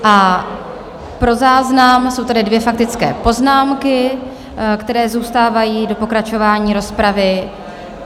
A pro záznam jsou tady dvě faktické poznámky, které zůstávají do pokračování rozpravy.